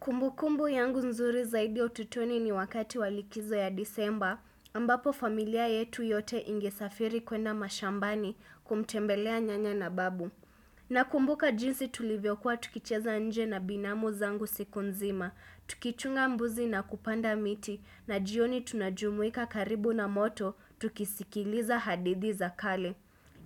Kumbukumbu yangu nzuri zaidi ya utotoni ni wakati wa likizo ya disemba, ambapo familia yetu yote ingesafiri kwenda mashambani kumtembelea nyanya na babu. Nakumbuka jinsi tulivyokuwa tukicheza nje na binamu zangu siku nzima, tukichunga mbuzi na kupanda miti, na jioni tunajumuika karibu na moto, tukisikiliza hadidhi za kale.